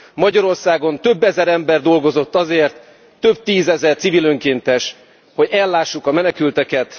Magyarországon több ezer ember dolgozott azért, több tízezer civil önkéntes, hogy ellássuk a menekülteket.